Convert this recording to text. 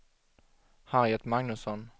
Harriet Magnusson